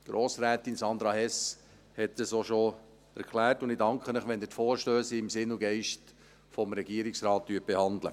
Grossrätin Sandra Hess hat das auch schon erklärt, und ich danke Ihnen, wenn Sie die Vorstösse im Sinn und Geist des Regierungsrates behandeln.